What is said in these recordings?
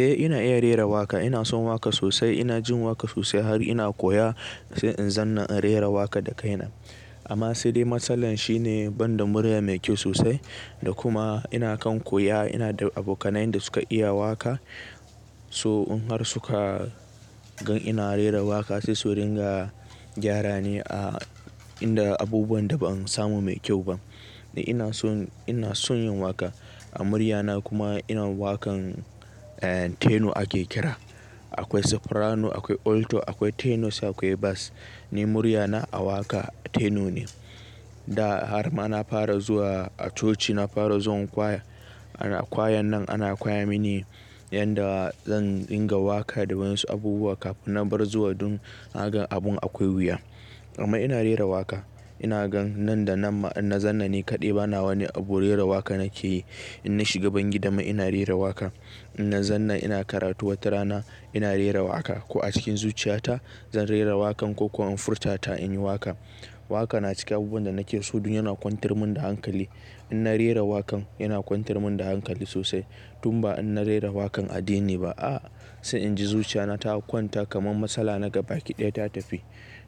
Eh ina iya rera waƙa. Ina son waƙa sosai, ina jin waƙa sosai har ina koya sai in zanna in rera waƙa da kaina. Amma saidai matsalar shine banda murya mai kyau sosai da kuma ina kan koya ina da abokanai da suka iya waƙa. So in har suka gan ina rera waƙa sai su ringa gyara ni a inda abubuwan da ban samu mai kyau ba. Ni ina son, ina son yin waƙa a muryana kuma ina waƙan teno ake kira. Akwai soprano, akwai alto, akwai tenos akwai bas. Ni muryana a waƙa teno ne. Da har ma na fara zuwa a coci na fara zuwa choir A kwayan nan ana koya mini yadda zan ringa waƙa da wasu abubuwa kafin na bar zuwa dun na ga abun akwai wuya. Amma ina rera waƙa. Ina gan nan da nan in na zanna ni kaɗai bana wani abu rera waƙa nake yi. In na shiga bangida ma ina rera waƙa. In na zanna ina karatu watarana ina rera waƙa. Ko a cikin zuciyata zan rera waƙan ko kuwa in furta ta in yi waƙa. Waƙa na cikin abubuwan da nake so dun yana kwantar mun da hankali. In na rera waƙan yana kwantar mun da hankali sosai tun ba in na rera waƙan addini ba, a'a. Sai inji zuciyata ta kwanta kamar matsala naga baki ɗaya ta tafi.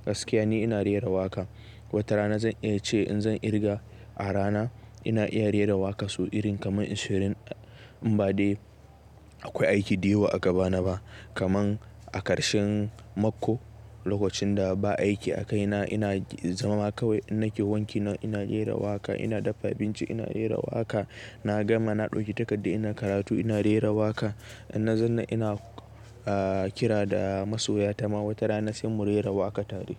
Gaskiya ne ina rera waƙa. Watarana zan iya ce in zan irga a rana ina iya rera waƙa sau irin kamar in shirin in ba dai akwai aiki da yawa a gabana ba. Kamar a ƙarshen mako lokacin da ba aiki a kaina ina zama kawai ina ke wanki ina rera waƙa, ina daffa abinci ina rera waƙa, na gama na ɗauki takarda ina karatu ina rera waƙa. In na zanna ina kira da masoya ta ma watarana sai mu rera waƙa tare.